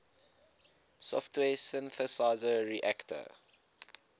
software synthesizer reaktor